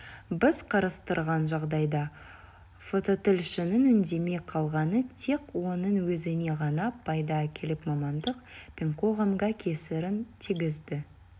біз қарастырған жағдайда фототілшінің үндемей қалғаны тек оның өзіне ғана пайда әкеліп мамандық пен қоғамға кесірін тигізді